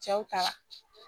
Cɛw ta la